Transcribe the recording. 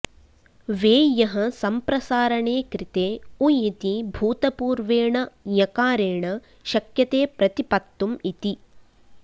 वेञः सम्प्रसारणे कृते उञिति भूतपूर्वेण ञकारेण शक्यते प्रतिपत्तुम् इति